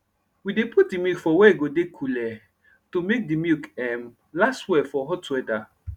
we dey put d milk for were e go dey cooley to make de milk um last well for hot weather